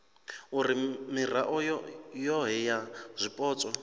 uri mirao yohe ya zwipotso